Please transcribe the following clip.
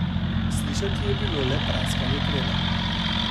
Slišati je bilo le praskanje krede.